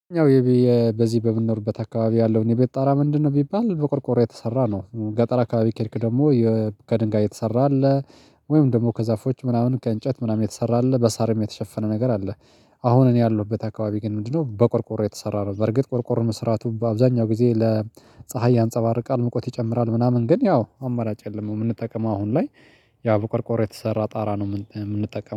ያው በዚህ በምንኖርበት አካባቢ ያለው እኔ ቤት ጣራ ምንድነው? ቢባል በቆርቆሮ የተሰራ ነው። ገጠር አካባቢ ከሄድክ ደግሞ ከድንጋይ የተሰራ አለ። ወይም ደግሞ ከዛፎች ምናምን ከእንጨት ምናምን የተሰራ አለ በሳርም የተሸፈነ ነገር አለ። አሁን እኔ ያለሁበት አካባቢ ግን ምንድነው? በቆርቆሮ የተሰራ ነው። በርግጥ ቆርቆሮ መስራቱ በአብዛኛው ጊዜ ለፀሀይ ያንፀባርቃል ሙቀት ይጨምራል ምናምን ግን ያው አመራጭ የለም። የምንጠቀመው አሁን ላይ ያው በቆርቆር የተሰራ ጣራ ነው። የምንጠቀመው